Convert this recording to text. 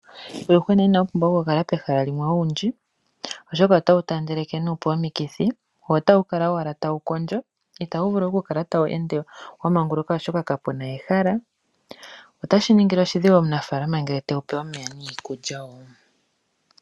Uuyuhwena ina wu pumbwa okukala pehala limwe owundji oshoka ota wu taandeleke nuupu omikithi wo ota wu kala owala tawu kondjo itawu vulu okukala tawu ende wa manguluka oshoka kapu na ehala, otashi ningile oshidhigu omunafalama ngele tewu pe omeya niikulya wo.